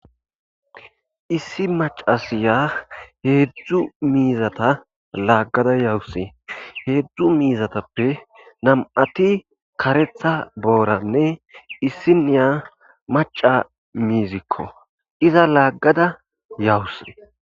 Issi macasiya heedzdzu miizata laaggada yawuse heedzdzu miizatappe nam7ati karetha booranne issiniya maca miizikko iza laaggada yawus.